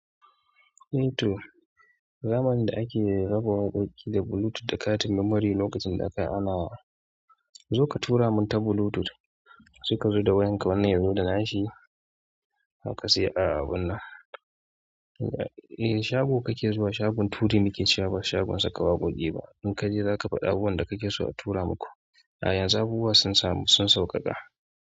Eh to zamanin da ake raba waƙoƙi da Bluetooth da katin memory lokacin da akai anawa. Zo ka tura mun ta Bluetooth sai ka zo da wayan ka wanne yazo da nashi kuka sai abun nan. Eh shago kake zuwa shagon turi muke cewa ba shagon saka waƙoƙi ba. In kaje zaka faɗa abubuwan da kake so a tura maku. A yanzu abubuwa sun samu sun sauƙaƙa.